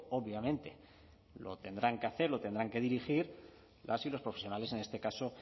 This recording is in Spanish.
obviamente lo tendrán que hacer lo tendrán que dirigir las y los profesionales en este caso